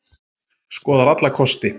Skoðar alla kosti